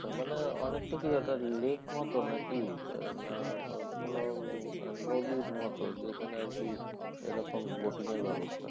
তার মানে অনেকটা কি ওটা lake মত নাকি? আহ না কোনও নদীর মতন যেখানে এরকম boating এর ব্যবস্থা